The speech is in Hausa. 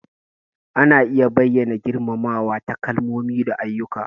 Ana iya bayyana girmamawa ta kalmomi da ayyuka.